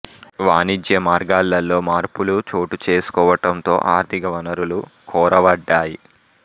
వాణిజ్య మార్గాలలో మార్పులు చోటు చేసుకోవటం తో ఆర్థిక వనరులు కొరవడ్డాయి